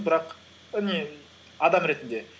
бірақ і не адам ретінде